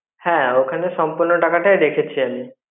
হ্যাঁ ওখানে সম্পূর্ণ টাকা টাই রেখেছি আমি.